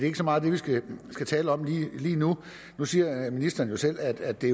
ikke så meget det vi skal tale om lige nu nu siger ministeren jo selv at det